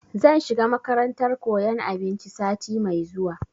Zan shiga makarantar koyan abinci sati mai zuwa